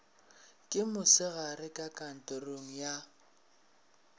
ke mosegare ka kantorong ya